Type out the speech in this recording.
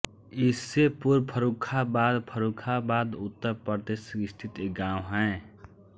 ईसेपुर फर्रुखाबाद फर्रुखाबाद उत्तर प्रदेश स्थित एक गाँव है